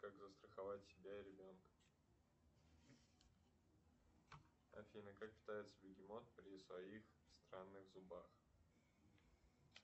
как застраховать себя и ребенка афина как питается бегемот при своих странных зубах